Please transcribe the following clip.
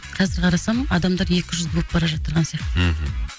қазір қарасам адамдар екі жүзді болып бар жатырған сияқты мхм